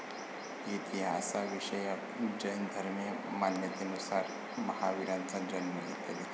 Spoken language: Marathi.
इतिहासाविषयक जैन धर्मीय मान्यतेनुसार महावीरांचा जन्म इ.